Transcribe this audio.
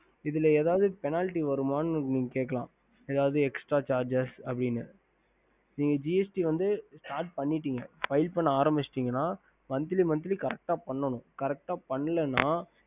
ஹம்